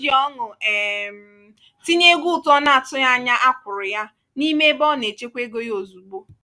o ji ọṅụ um tinye ego ụtụ ọ na-atụghị anya a kwụrụ ya n'ime ebe ọ na-echekwa ego ya ozugbo.